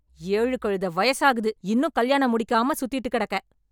ஏழு கழுதை வயசாகுது இன்னும் கல்யாணம் முடிக்காம சுத்திட்டு கிடக்க?